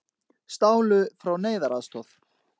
Stálu frá neyðaraðstoð